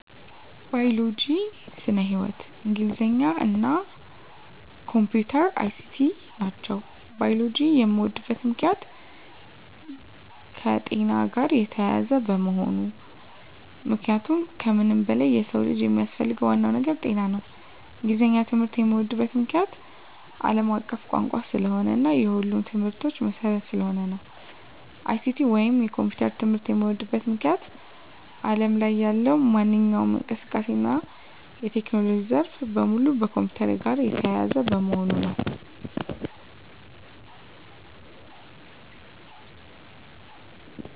ባዮሎጂ (ስነ-ህይዎት)፣ እንግሊዘኛ እና የኮምፒዩተር ትምህርት(ICT) ናቸው። ባዮሎጂን የምወድበት ምክንያት - የከጤና ጋር የተያያዘ በመሆኑ ምክንያቱም ከምንም በላይ የሰው ልጅ የሚያስፈልገው ዋናው ነገር ጤና ነው። እንግሊዘኛን ትምህርት የምዎድበት ምክንያት - አለም አቀፍ ቋንቋ ስለሆነ እና የሁሉም ትምህርቶች መሰረት ስለሆነ ነው። ICT ወይንም የኮምፒውተር ትምህርት የምዎድበት ምክንያት አለም ላይ ያለው ማንኛውም እንቅስቃሴ እና የቴክኖሎጂ ዘርፍ በሙሉ ከኮምፒውተር ጋር የተያያዘ በመሆኑ ነው።